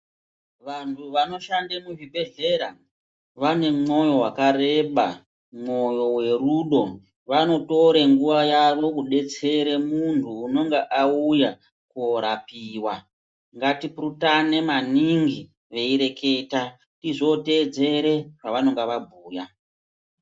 Vanthu vanoshande muzvibhedhlera vane mwoyo wakareba mwoyo werudo vanotore nguwa yavo kudetsera munthu unonga auya korapiwa ngatipurutane maningi veireketa tizoteedzere zvavannga vabhuya.